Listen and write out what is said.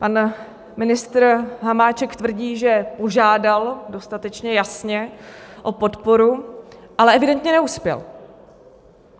Pan ministr Hamáček tvrdí, že požádal dostatečně jasně o podporu, ale evidentně neuspěl.